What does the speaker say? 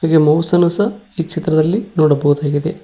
ಹೀಗೆ ಮೌಸ್ ಅನ್ನು ಸಹ ಈ ಚಿತ್ರದಲ್ಲಿ ನೋಡಬಹುದಾಗಿದೆ.